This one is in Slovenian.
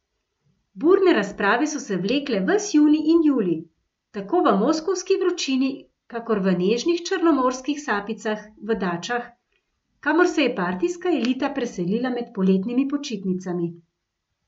Burne razprave so se vlekle ves junij in julij, tako v moskovski vročini kakor v nežnih črnomorskih sapicah v dačah, kamor se je partijska elita preselila med poletnimi počitnicami.